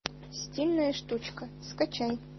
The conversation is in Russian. стильная штучка скачай